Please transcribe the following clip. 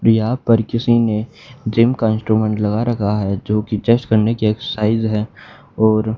प्रिया पर किसी ने जिम का इंस्ट्रूमेंट लगा रखा है जो की जस्ट करने की एक्सरसाइज है और--